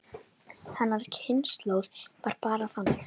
Hennar kynslóð var bara þannig.